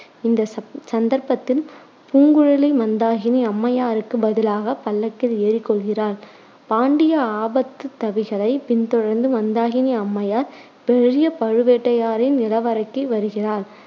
இந்த சந்த்~ சந்தர்ப்பத்தில் பூங்குழலி மந்தாகினி அம்மையாருக்கு பதிலாக பல்லக்கில் ஏறிக்கொள்கிறாள். பாண்டிய ஆபத்துதவிகளை பின்தொடர்ந்து மந்தாகினி அம்மையார் பெரிய பழுவேட்டரையரின் நிலவறைக்கு வருகிறாள்.